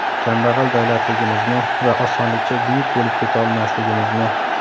Kambag‘al davlatligimizni va osonlikcha buyuk bo‘lib keta olmasligimizni.